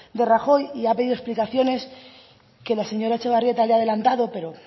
de rajoy y ha pedido explicaciones que la señora etxebarrieta le ha adelantado pero